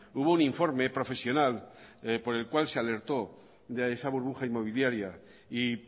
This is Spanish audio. hubo un informe profesional por el cual se alertó de esa burbuja inmobiliaria y